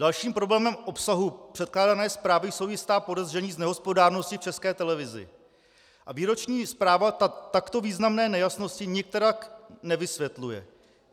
Dalším problémem obsahu předkládané zprávy jsou jistá podezření z nehospodárnosti v České televizi a výroční zpráva takto významné nejasnosti nikterak nevysvětluje.